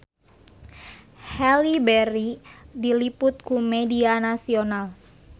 Halle Berry diliput ku media nasional